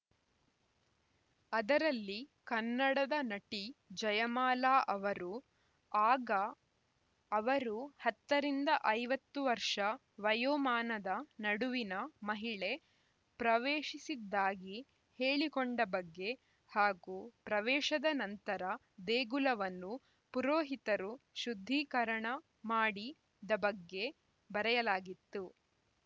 ಅದರಲ್ಲಿ ಕನ್ನಡದ ನಟಿ ಜಯಮಾಲಾ ಅವರು ಆಗ ಅವರು ಹತ್ತ ರಿಂದ ಐವತ್ತು ವರ್ಷ ವಯೋಮಾನದ ನಡುವಿನ ಮಹಿಳೆ ಪ್ರವೇಶಿಸಿದ್ದಾಗಿ ಹೇಳಿಕೊಂಡ ಬಗ್ಗೆ ಹಾಗೂ ಪ್ರವೇಶದ ನಂತರ ದೇಗುಲವನ್ನು ಪೊರೋಹಿತರು ಶುದ್ಧೀಕರಣ ಮಾಡಿ ದ ಬಗ್ಗೆ ಬರೆಯಲಾಗಿತ್ತು